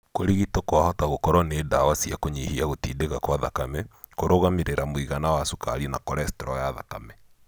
Kũrigito kwahota gũkoro nĩ ndawa cia kunyihia gũtindika kwa thakame, kũrũgamĩrĩra mũigana wa cukari na cholestrol ya thakame.